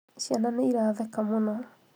ciana nĩ iratheka mũno